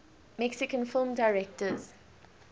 mexican film directors